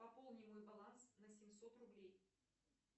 пополни мой баланс на семьсот рублей